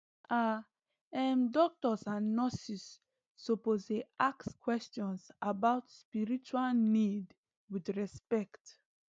ah em doctors and nurses suppose dey ask questions about spiritual need with respect